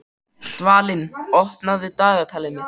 Dvalinn, opnaðu dagatalið mitt.